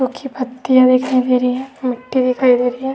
सूखी पत्तियां दिखाई दे रही है मिट्टी दिखाई दे रही हैं।